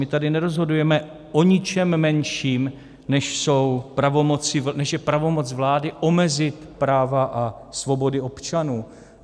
My tady nerozhodujeme o ničem menším, než je pravomoc vlády omezit práva a svobody občanů.